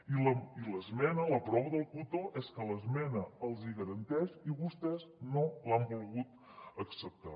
i la prova del cotó és que l’esmena els hi garanteix i vostès no l’han volgut acceptar